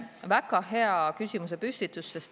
Väga hea küsimuse püstitus!